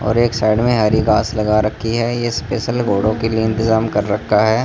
और एक साइड में हरी घास लगा रखी है ये स्पेशल घोड़ों के लिए इंतजाम कर रखा है।